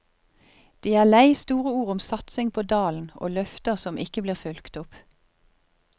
De er lei store ord om satsing på dalen og løfter som ikke blir fulgt opp.